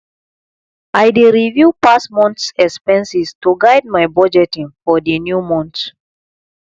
i dey review past months expenses to guide my budgeting for the new month